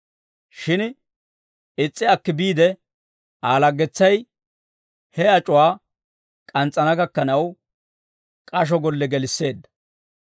«Shin is's'i akki biide, Aa laggetsay he ac'uwaa k'ans's'ana gakkanaw, k'asho golle gelisseedda.